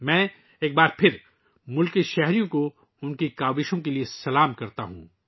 میں ایک بار پھر ہم وطنوں کو ، ان کی کوششوں کے لئے سلام کرتا ہوں